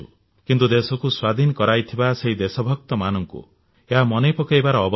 କିନ୍ତୁ ଦେଶକୁ ସ୍ୱାଧୀନ କରାଇଥିବା ସେହି ଦେଶଭକ୍ତମାନଙ୍କୁ ଏହା ମନେ ପକାଇବାର ସମୟ